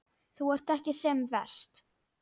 Þú ert ekki sem verst.